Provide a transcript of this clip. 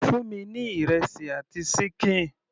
Fún mi ní ìrẹsì àti ṣíkìn.